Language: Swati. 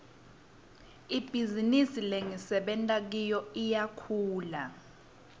ibhizinisi lengisebenta kiyo iyakhula